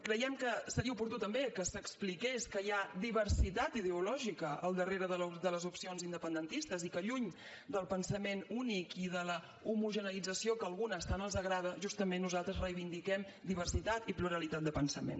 creiem que seria oportú també que s’expliqués que hi ha diversitat ideològica al darrere de les opcions independentistes i que lluny del pensament únic i de l’homogeneïtzació que a algunes tant els agrada justament nosaltres reivindiquem diversitat i pluralitat de pensament